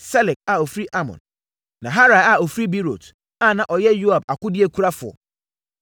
Selek a ɔfiri Amon; Naharai a ɔfiri Beerot (a na ɔyɛ Yoab akodeɛkurafoɔ);